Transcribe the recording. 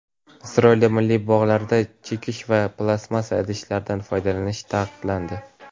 Isroilda milliy bog‘larda chekish va plastmassa idishlardan foydalanish taqiqlandi.